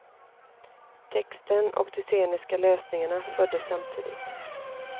Texten och de sceniska lösningarna föddes samtidigt.